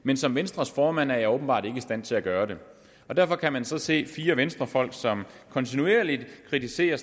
men som venstres formand er jeg åbenbart ikke i stand til at gøre det derfor kan man så se fire venstrefolk som kontinuerligt kritiserer